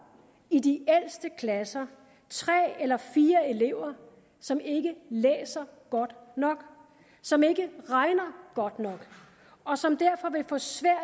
i de ældste klasser tre eller fire elever som ikke læser godt nok som ikke regner godt nok og som derfor vil få svært